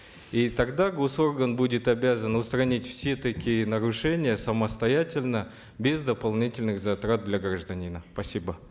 и тогда госорган будет обязан устранить все такие нарушения самостоятельно без дополнительных затрат для гражданина спасибо